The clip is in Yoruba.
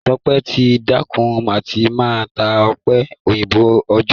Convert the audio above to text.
Ṣọpẹ́ ti dẹ́kun àti máa ta ọ̀pẹ-òyìnbó òòjọ́